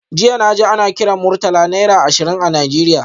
Jiya naji ana kiran Murtala naira ashirin a Nigeria